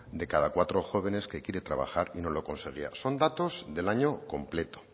de cada cuatro jóvenes que quiere y no lo conseguía son datos del año completo